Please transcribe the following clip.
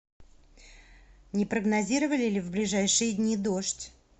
не прогнозировали ли в ближайшие дни дождь